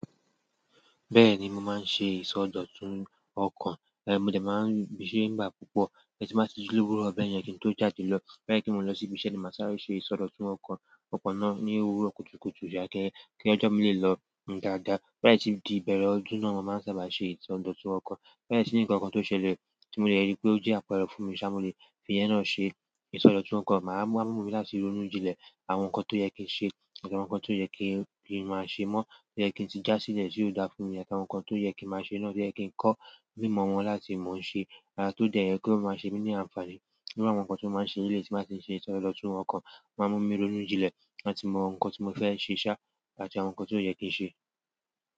Bẹ́ẹ̀ni, mo máa ń ṣe ìsọdọ̀tun ọkọ̀. Mo dẹ̀ máa ń ṣẹ́ nígbà púpọ̀, tí mo bá ji lowurọ̀ bẹ yẹn kí n tó jáde lọ. Lẹ́yìn tí mo lọ sí ibi iṣẹ́ ni màá sáré ṣe ìsọdọ̀tun ọkọ̀, ọkọ̀ náà ní owurọ̀ kùtùkùtù yá kí ọjọ́ mi lè lọ dáadáa. To ba si n tí di ibẹ̀rẹ̀ ọdún náà mo máa sábà ṣe ìsọdọ̀tun ọkọ̀. Lẹ́yìn tí nnkankan tó ṣẹlẹ̀ tí mo de rí pé ó jẹ́ àpẹẹrẹ fún mi sá mo le fi yẹn náà ṣe ìsọdọ̀tun ọkọ̀. A wa mú mi láti ronú jinlẹ̀ àwọn nǹkan tó yẹ kí n ṣe, àti àwọn nǹkan tó yẹ kí n má ṣe mọ́. Tó yẹ kí n ti já sílẹ̀ ti o dà fún mi, àti àwọn nǹkan tó yẹ kí n má ṣe náà tó yẹ kí n kọ́ mímọ̀ wọ́n láti mọ̀ ṣe. Tó de yẹ kí ó máa ṣe mí ní àǹfààní. Iru àwọn nǹkan tí mo máa ń ṣe ní eleyii tí bá ti ń ṣe ìsọdọ̀tun ọkọ̀, o máa ń mú mi ronú jinlẹ̀ láti mọ̀ nǹkan tí mo fẹ́ ṣe sá àti àwọn nǹkan tó yẹ kí n ṣe.